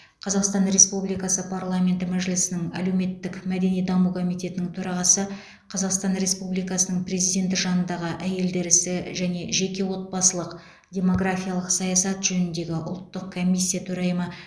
қазақстан республикасы парламенті мәжілісінің әлеуметтік мәдени даму комитетінің төрағасы қазақстан республикасы президенті жанындағы әйелдер ісі және жеке отбасылық демографиялық саясат жөніндегі ұлттық комиссия төрайымы